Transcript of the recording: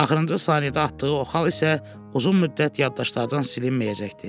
Axırıncı saniyədə atdığı o xal isə uzun müddət yaddaşlardan silinməyəcəkdi.